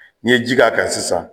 N'i ye ji k'a kan sisan